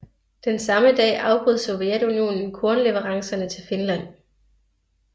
Den samme dag afbrød Sovjetunionen kornleverancerne til Finland